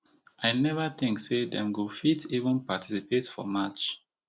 i neva think say dem go fit even participate for march